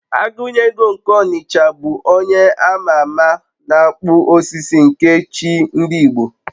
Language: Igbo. Agunyego nke n'Ọnịcha bụ onye a ma ama na-akpụ osisi nke chi ndị Igbo